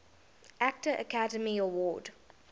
actor academy award